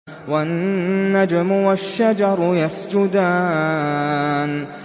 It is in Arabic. وَالنَّجْمُ وَالشَّجَرُ يَسْجُدَانِ